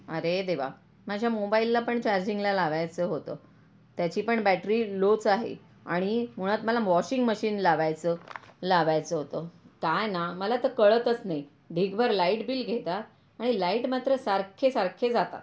अरे देवा माझा मोबाईल ला पण चार्जिंग ला लावायचं होत त्याची पण बैटरी लो च आहे आणि मुळात मला वाशिंग मशीन लावायच, लावायच होत काय ना मला तर काळतच नाही ढीग भर लाईट बिल घेता आणि लाईट मात्र सारखे सारखे जातात.